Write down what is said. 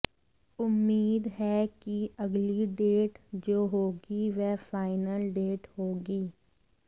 उम्मीद है कि अगली डेट जो होगी वह फाइनल डेट होगी